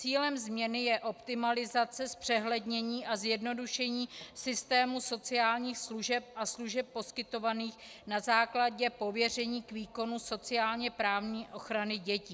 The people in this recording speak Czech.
Cílem změny je optimalizace, zpřehlednění a zjednodušení systému sociálních služeb a služeb poskytovaných na základě pověření k výkonu sociálně-právní ochrany dětí.